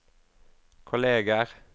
kolleger